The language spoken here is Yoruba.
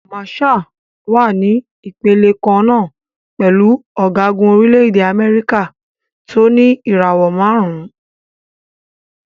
Màṣáà wà ní ìpele kan náà pẹ̀lú ọ̀gágun orílẹ̀-èdè Amẹ́ríkà tó ní ìràwò márùn-ún.